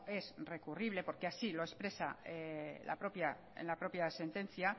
es recurrible porque así lo expresa en la propia sentencia